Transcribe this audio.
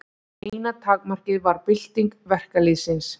Eina takmarkið var bylting verkalýðsins.